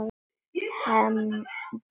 Hendum okkur á gólfið.